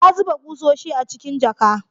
Ya zuba ƙusoshi a cikin jaka